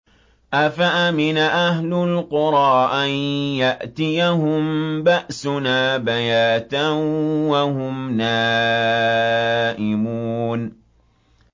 أَفَأَمِنَ أَهْلُ الْقُرَىٰ أَن يَأْتِيَهُم بَأْسُنَا بَيَاتًا وَهُمْ نَائِمُونَ